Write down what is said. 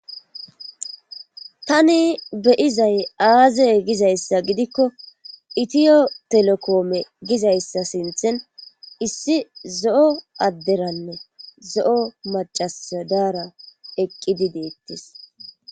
Tani beyzay aze gizayssa gidikoethio telekomme gizayssa sinthan issi zo'o aderanne zo'o macassi dara eqidi dettes.